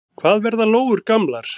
Hvað verða lóur gamlar?